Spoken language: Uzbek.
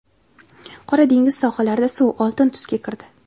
Qora dengiz sohillarida suv oltin tusga kirdi.